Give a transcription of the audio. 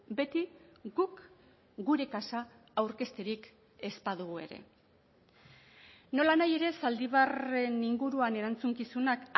beti guk gure kaxa aurkezterik ez badugu ere nolanahi ere zaldibarren inguruan erantzukizunak